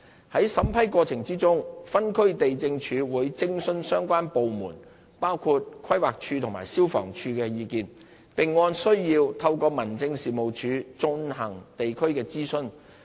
在審批過程中，分區地政處會徵詢相關部門包括規劃署及消防處的意見，並按需要透過民政事務處進行地區諮詢。